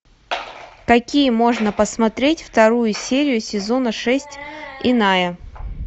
какие можно посмотреть вторую серию сезона шесть иная